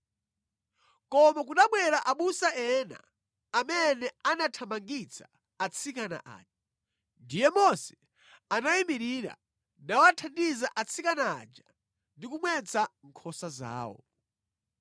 Koma kunabwera abusa ena amene anathamangitsa atsikana aja. Ndiye Mose anayimirira nawathandiza atsikana aja ndi kumwetsa nkhosa zawo.